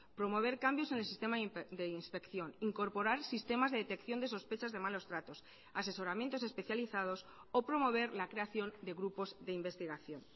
promover cambios en el sistema de inspección incorporar sistemas de detección de sospechas de malos tratos asesoramientos especializados o promover la creación de grupos de investigación